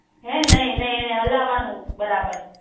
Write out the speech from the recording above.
હે નહિ નહિ એને હલાવાનુનું બરાબાર